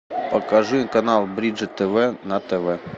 покажи канал бридж тв на тв